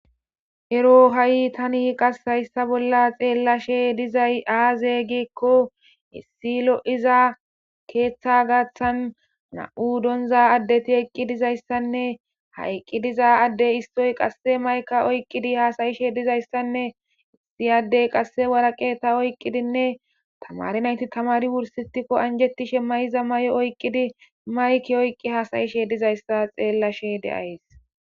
Ero tani haysa bolla xelashe dizays aze giiko issi loiza ketha garisan na'mu doniza adeti eqidizayisanee ha eqi dizo adey mayikya oyikidi hasayishene issi adey qase wariqata oyikidine tamare nayiti wurisisimiko anijetiza mayo mayidi mayike oyikidi hasayishe dizayisa be'ays